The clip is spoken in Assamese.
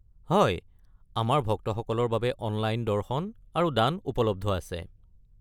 হয়, আমাৰ ভক্তসকলৰ বাবে অনলাইন দৰ্শন আৰু দান উপলব্ধ আছে।